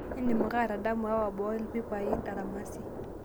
indim ake atadamu aawa boo ilpipai aramisi